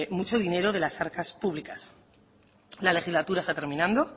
mucho dinero de las arcas públicas la legislatura está terminando